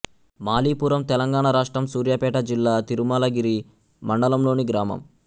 మాలిపురం తెలంగాణ రాష్ట్రం సూర్యాపేట జిల్లా తిరుమలగిరి మండలంలోని గ్రామం